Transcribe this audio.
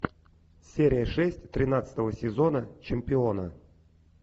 серия шесть тринадцатого сезона чемпиона